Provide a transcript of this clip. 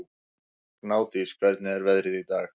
Gnádís, hvernig er veðrið í dag?